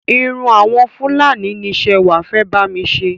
Irun àwọn Fúlàní ni Ṣẹwà fẹ́ bami ṣe.